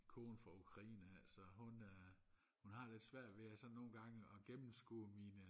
kone fra Ukraine af så hun hun har lidt svært ved at sådan nogengange at gennemskue mine